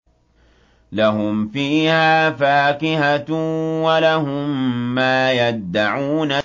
لَهُمْ فِيهَا فَاكِهَةٌ وَلَهُم مَّا يَدَّعُونَ